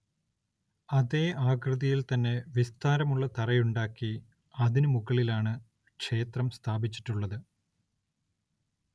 അതേ ആകൃതിയിൽ തന്നെ വിസ്താരമുള്ള തറയുണ്ടക്കി അതിനു മുകളിലാണ് ക്ഷേത്രം സ്ഥാപിച്ചിട്ടുള്ളത്.